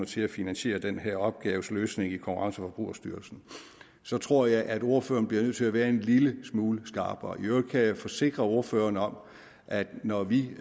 til at finansiere den her opgaves løsning i konkurrence og forbrugerstyrelsen så tror jeg at ordføreren bliver nødt til at være en lille smule skarpere i øvrigt kan jeg forsikre ordføreren om at når vi